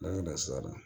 An ye da sira la